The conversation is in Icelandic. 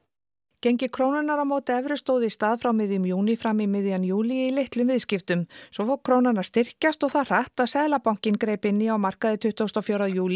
gengi krónunnar á móti evru stóð í stað frá miðjum júní fram í miðjan júlí í litlum viðskiptum svo fór krónan að styrkjast og það hratt að Seðlabankinn greip inn í á markaði tuttugasta og fjórða júlí